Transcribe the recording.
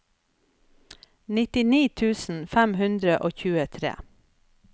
nittini tusen fem hundre og tjuetre